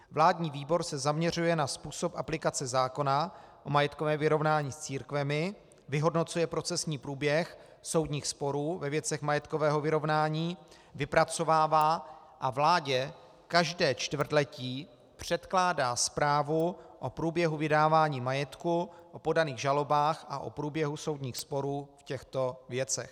Vládní výbor se zaměřuje na způsob aplikace zákona o majetkovém vyrovnání s církvemi, vyhodnocuje procesní průběh soudních sporů ve věcech majetkového vyrovnání, vypracovává a vládě každé čtvrtletí předkládá zprávu o průběhu vydávání majetku, o podaných žalobách a o průběhu soudních sporů v těchto věcech.